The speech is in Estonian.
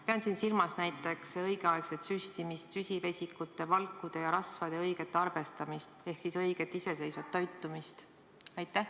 Pean siin silmas näiteks õigeaegset süstimist ning süsivesikute, valkude ja rasvade õiget arvestamist ehk õiget iseseisvat toitumist.